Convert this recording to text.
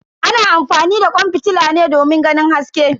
Ana amfani da kwan fitila ne domin ganin haske.